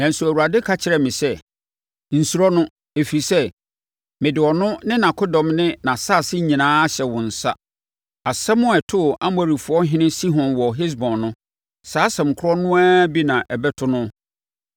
Nanso, Awurade ka kyerɛɛ me sɛ, “Nsuro no, ɛfiri sɛ, mede ɔno ne nʼakodɔm ne nʼasase nyinaa ahyɛ wo nsa. Asɛm a ɛtoo Amorifoɔhene Sihon wɔ Hesbon no, saa asɛm korɔ no ara bi na ɛbɛto no.”